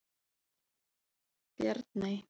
Bjarney